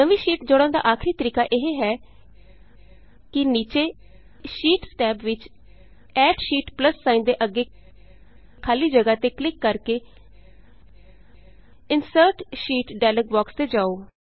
ਨਵੀਂ ਸ਼ੀਟ ਜੋੜਨ ਦਾ ਆਖਰੀ ਤਰੀਕਾ ਇਹ ਹੈ ਕਿ ਨੀਚੇ ਸ਼ੀਟਸ ਟੈਬ ਵਿਚ add sheet add sheet plus sign ਦੇ ਅੱਗੇ ਖਾਲੀ ਜਗ੍ਹਾ ਤੇ ਕਲਿਕ ਕਰ ਕੇ insert sheet insert sheet dialog box ਤੇ ਜਾਉ